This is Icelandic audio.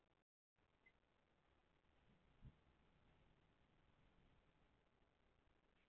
Hjá drengjum vex hár yfir nárabeininu og í holhöndinni og auk þess á fótleggjum.